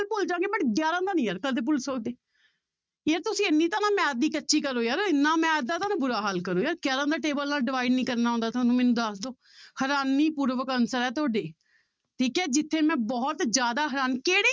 ਭੁੱਲ ਜਾਵਾਂਗੇ but ਗਿਆਰਾਂ ਦਾ ਨੀ ਯਾਰ ਕਦੇ ਭੁੱਲ ਸਕਦੇ ਯਾਰ ਤੁਸੀਂ ਇੰਨੀ ਤਾਂ ਨਾ math ਦੀ ਕੱਚੀ ਕਰੋ ਯਾਰ, ਇੰਨਾ math ਦਾ ਤਾਂ ਨਾ ਬੁਰਾ ਹਾਲ ਕਰੋ ਯਾਰ ਗਿਆਰਾਂ ਦੇ table ਨਾਲ divide ਨੀ ਕਰਨਾ ਆਉਂਦਾ ਤੁਹਾਨੂੰ ਮੈਨੂੰ ਦੱਸ ਦਓ ਹੈਰਾਨੀ ਪੂਰਵਕ answer ਹੈ ਤੁਹਾਡੇ ਠੀਕ ਹੈ ਜਿੱਥੇ ਮੈਂ ਬਹੁਤ ਜ਼ਿਆਦਾ ਹੈਰਾਨ ਕਿਹੜੇ